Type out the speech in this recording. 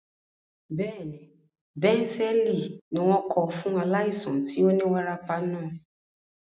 Bẹ́ẹ̀ni, bẹ̀ǹsẹ́ẹ̀lì ni wọ́n kọ fún aláìsàn tí ó ní wárápá náà.